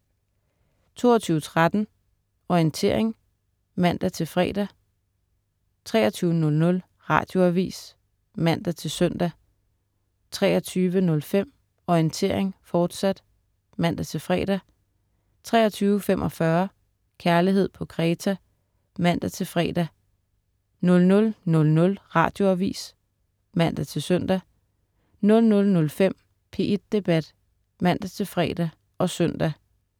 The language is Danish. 22.13 Orientering* (man-fre) 23.00 Radioavis (man-søn) 23.05 Orientering, fortsat* (man-fre) 23.45 Kærlighed på Kreta* (man-fre) 00.00 Radioavis (man-søn) 00.05 P1 Debat* (man-fre og søn)